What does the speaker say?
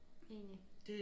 Enig